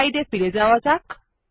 স্লাইডে ফিরে যাওয়া যাক